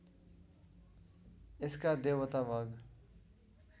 यसका देवता भग